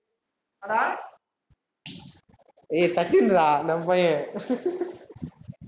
ஏய் சச்சின்டா, நம்ம பையன்